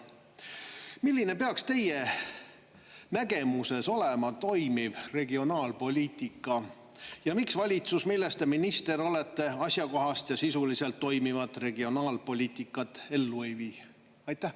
Milline peaks teie nägemuses olema toimiv regionaalpoliitika ja miks valitsus, millest te minister olete, asjakohast ja sisuliselt toimivat regionaalpoliitikat ellu ei vii?